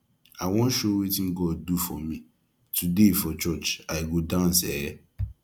i wan show wetin god do for me today for church i go dance eh